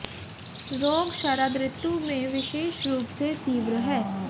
रोग शरद ऋतु में विशेष रूप से तीव्र है